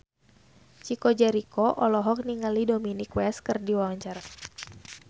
Chico Jericho olohok ningali Dominic West keur diwawancara